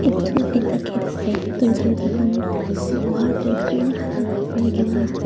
etu ekta gate ase etu tu taikhan loha de green color para mari gina ase.